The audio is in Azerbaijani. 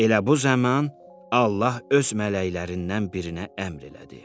Elə bu zaman Allah öz mələklərindən birinə əmr elədi: